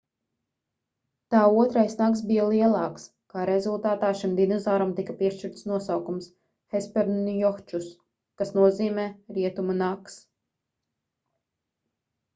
tā otrais nags bija lielāks kā rezultātā šim dinozauram tika piešķirts nosaukums hesperonychus kas nozīmē rietumu nags